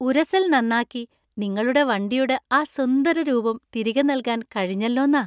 ഉരസല്‍ നന്നാക്കി നിങ്ങളുടെ വണ്ടിയുടെ ആ സുന്ദര രൂപം തിരികെ നൽകാന്‍ കഴിഞ്ഞല്ലോന്നാ